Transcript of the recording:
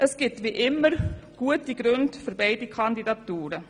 Es gibt wie immer gute Gründe für beide Kandidaturen.